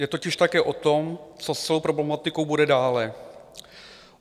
Je totiž také o tom, co s celou problematikou bude dále.